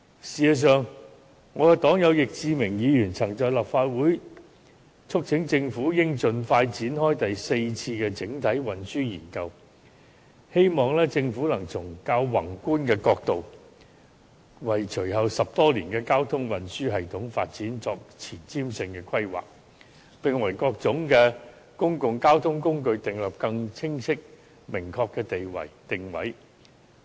事實上，我的黨友易志明議員曾在立法會促請政府應盡快展開第四次整體運輸研究，希望政府能從較宏觀的角度，為隨後10多年的交通運輸系統發展作前瞻性的規劃，並為各種公共交通工具訂立更清晰明確的定位。